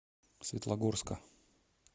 светлогорска